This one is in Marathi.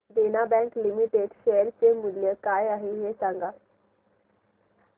देना बँक लिमिटेड शेअर चे मूल्य काय आहे हे सांगा